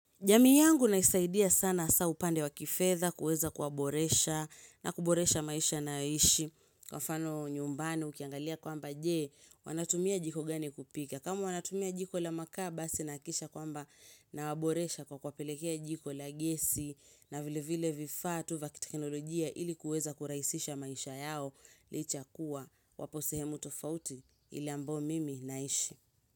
Jamii yangu naisaidia sana hasa upande wa kifedha kuweza kuwaboresha na kuboresha maisha nayoishi Kwa mfano nyumbani ukiangalia kwamba jee wanatumia jiko gani kupika kama wanatumia jiko la makaa basi naakikisha kwamba nawaboresha kwa kuwapelekea jiko la gesi na vile vile vifaa tu va kitekinolojia ili kuweza kuraisisha maisha yao Licha ya kuwa wapo sehemu tofauti ili ambao mimi naishi.